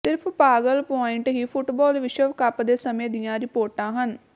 ਸਿਰਫ ਪਾਗਲ ਪੁਆਇੰਟ ਹੀ ਫੁੱਟਬਾਲ ਵਿਸ਼ਵ ਕੱਪ ਦੇ ਸਮੇਂ ਦੀਆਂ ਰਿਪੋਰਟਾਂ ਹਨ